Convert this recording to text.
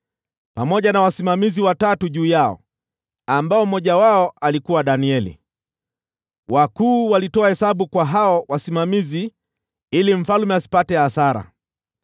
pamoja na wasimamizi watatu juu yao, ambao mmoja wao alikuwa Danieli. Wakuu walitoa hesabu kwa hao wasimamizi ili mfalme asipate hasara.